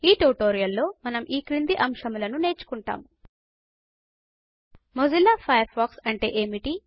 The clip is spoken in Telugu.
ఈ ట్యుటోరియల్ లో మనం ఈ క్రింది అంశముల ను నేర్చుకుంటాము మొజిల్లా ఫయర్ ఫాక్స్ అంటే ఏమిటి